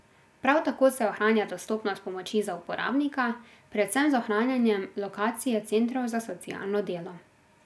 Prav tako se ohranja dostopnost pomoči za uporabnika, predvsem z ohranjanjem lokacije centrov za socialno delo.